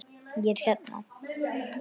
Ég hérna.